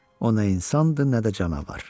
O nə insandı, nə də canavar.